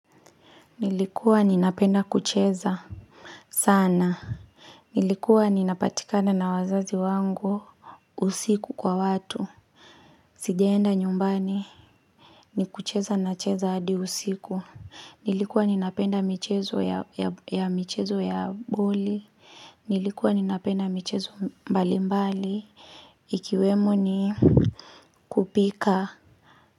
Nilikuwa ninapenda kucheza sana. Nilikuwa ninapatikana na wazazi wangu usiku kwa watu. Sijaenda nyumbani. Ni kucheza na cheza hadi usiku. Nilikuwa ninapenda michezo ya michezo ya boli. Nilikuwa ninapenda michezo mbali mbali. Ikiwemo ni kupika.